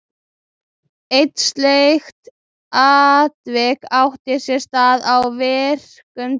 Eitt slíkt atvik átti sér stað á virkum degi.